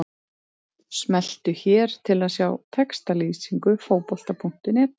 Smelltu hér til að sjá textalýsingu Fótbolta.net.